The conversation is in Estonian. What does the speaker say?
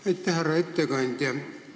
Aitäh, härra ettekandja!